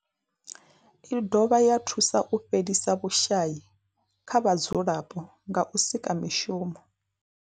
I dovha ya thusa u fhelisa vhushayi kha vhadzulapo nga u sika mishumo.